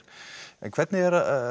hvernig